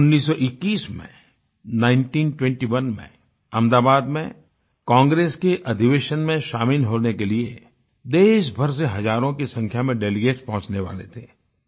1921 में nineteen twenty one में अहमदाबाद में कांग्रेस के अधिवेशन में शामिल होने के लिए देशभर से हजारों की संख्या में डेलीगेट्स पहुँचने वाले थे